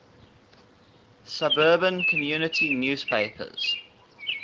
suburban community newspapers